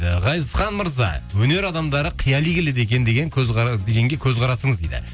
ы ғазизхан мырза өнер адамдары қияли келеді екен деген дегенге көзқарасыңыз дейді